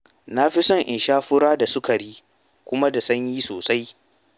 Na fi son in sha fura da sukari kuma da sanyi sosai.